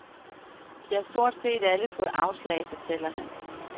De har stort set alle fået afslag, fortæller han.